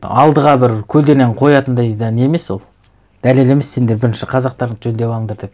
алдыға бір көлденен қоятындай да не емес ол дәлел емес сендер бірінші қазақтарыңды жөндеп алыңдар деп